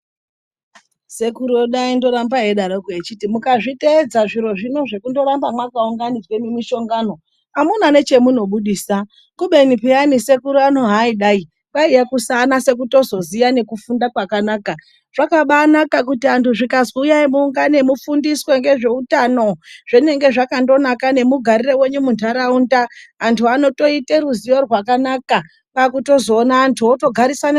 Sekuru wedu aindoramba eidaroko echiti mukazviteedza zviro zvino zvekungorambe makaunganidze mumishongano, hamuna nechamunobudisa. Kubeni peyani sekuru ano haaidai, kwaiye kusaanoto kuzoziya nekufunda kwakanaka. Zvakabaanaka kuti antu zvikazwi huyai muungane, mufundiswe ngezveutano. Zvinenge zvakandonaka nemugarire wenyu muntaraunda. Antu anotoita ruzivo rwakanaka, kwakutozona antu wotogarisane.